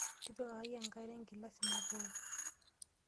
Tipikaki enkare engilasi matooko.